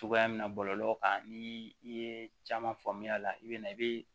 Cogoya min na bɔlɔlɔ kan ni i ye caman faamuya a la i bɛ na i bɛ